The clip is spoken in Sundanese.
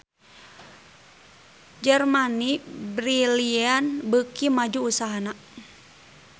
Germany Brilliant beuki maju usahana